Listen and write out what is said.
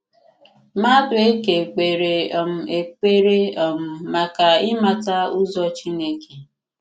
Madueke k̀pèrè um èkpèrè um maka ị̀màtà̀ ụzọ̀ Chineke.